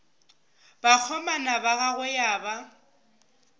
bakgomana ba gagwe ya ba